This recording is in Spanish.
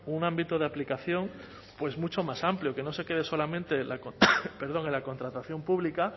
un ámbito de aplicación mucho más amplio que no se quede solamente en la contratación pública